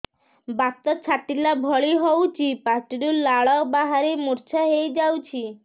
ବାତ ଛାଟିଲା ଭଳି ହଉଚି ପାଟିରୁ ଲାଳ ବାହାରି ମୁର୍ଚ୍ଛା ହେଇଯାଉଛି